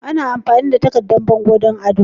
Ana amfani da takardan bango don ado.